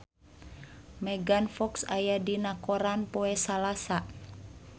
Megan Fox aya dina koran poe Salasa